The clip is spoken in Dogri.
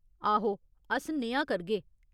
आहो, अस नेहा करगे।